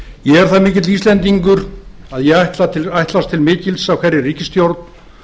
ég er það mikill íslendingur að ég ætlast til mikils af hverri ríkisstjórn